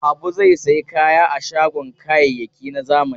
Habu zai sayi kaya a shagon kayayyaki na zamani.